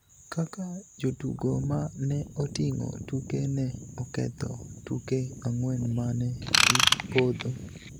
kaka jotugo ma ne oting'o tuke ne oketho tuke ang'wen ma ne gipodho